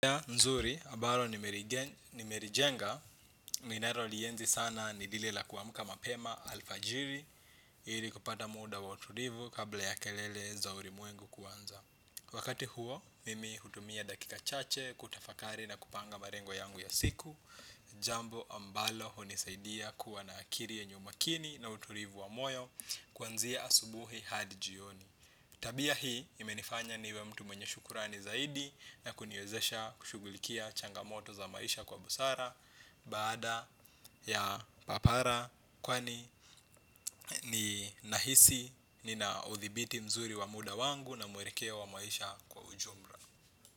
Nzuri, ambalo nimelijenga, ninalo lienzi sana ni lile la kuamka mapema alfajiri ili kupata muda wa utulivu kabla ya kelele za ulimwengu kuanza. Wakati huo, mimi hutumia dakika chache, kutafakari na kupanga malengo yangu ya siku. Jambo ambalo hunisaidia kuwa na akili yenye umakini na utulivu wa moyo kuanzia asubuhi hadi jioni. Tabia hii imenifanya niwe mtu mwenye shukurani zaidi na kuniwezesha kushugulikia changamoto za maisha kwa busara baada ya papara kwani ninahisi nina uthibiti mzuri wa muda wangu na muelekeo wa maisha kwa ujumla.